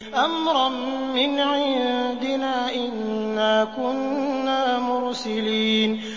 أَمْرًا مِّنْ عِندِنَا ۚ إِنَّا كُنَّا مُرْسِلِينَ